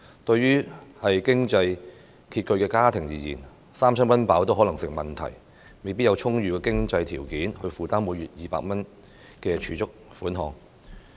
對於經濟拮据的家庭而言，三餐溫飽可能亦成問題，未必有充裕的經濟條件負擔每月200元的儲蓄款項。